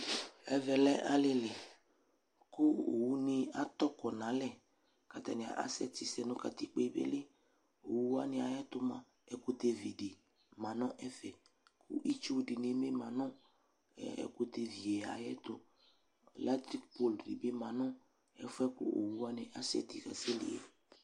Ɛvɛ lɛ alili kʋ owuni atɔ kɔ n'alɛ k'atani asɛti sɛ nʋ katikpo yɛ beli Owuwani ayɛtʋ mʋa ɛkʋtɛ vi di ma nʋ ɛfɛ kʋ itsu dini ni manʋ ɛkʋtɛ vi yɛ ayɛtʋElectric pole di bi manʋ ɛfʋ yɛ kʋ owuwani asɛti kasɛli yɛ